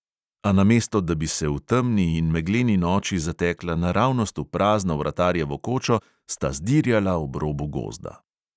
A namesto da bi se v temni in megleni noči zatekla naravnost v prazno vratarjevo kočo, sta zdirjala ob robu gozda.